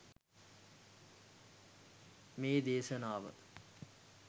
මේ දේශනාව